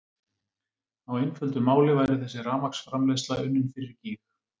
Á einföldu máli væri þessi rafmagnsframleiðsla unnin fyrir gýg!